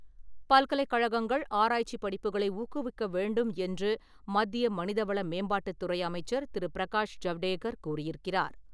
பல்கலைக்கழகங்கள் ஆராய்ச்சி படிப்புகளை ஊக்குவிக்க வேண்டும் என்று மத்திய மனிதவள மேம்பாட்டுத் துறை அமைச்சர் திரு. பிரகாஷ் ஜவ்டேகர் கூறியிருக்கிறார்.